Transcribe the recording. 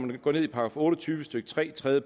vi går ned i § otte og tyve stykke tre tredje